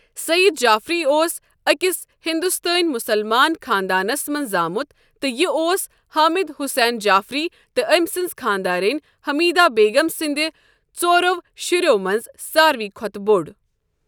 سعید جعفری اوس أکِس ہندوستٲنی مُسلمان خانٛدانَس منٛز زامُت، تہٕ یہِ اوس حامد حسین جعفری تہٕ أمۍ سٕنٛز خانٛدارِنۍ حمیدہ بیگم سٕنٛدِ ژورَو شُرٮ۪و منٛز ساروِی کھۄتہٕ بوٚڑ۔